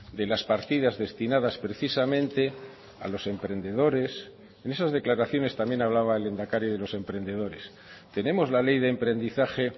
de las partidas destinadas precisamente a los emprendedores en esas declaraciones también hablaba el lehendakari de los emprendedores tenemos la ley de emprendizaje